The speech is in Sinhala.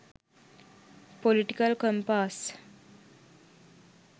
political compass